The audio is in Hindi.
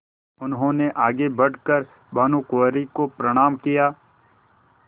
उन्होंने आगे बढ़ कर भानुकुँवरि को प्रणाम किया